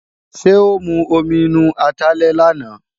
Ṣé ó mu omi inú atalẹ̀ làná?